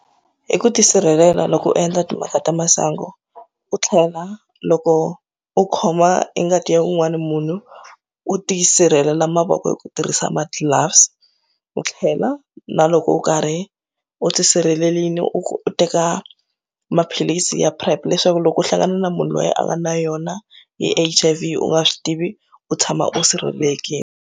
I ku tisirhelela loko u endla timhaka ta masangu u tlhela loko u khoma i ngati ya un'wana munhu u tisirhelela mavoko hi ku tirhisa ma gloves u tlhela na loko u karhi u tisirhelelile u teka maphilisi ya PrEP leswaku loko u hlangana na munhu loyi a nga na yona hi H_I_V u nga swi tivi u tshama u sirhelelekile.